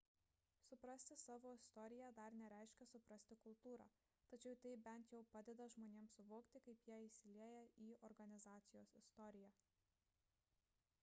suprasti savo istoriją dar nereiškia suprasti kultūrą tačiau tai bent jau padeda žmonėms suvokti kaip jie įsilieja į organizacijos istoriją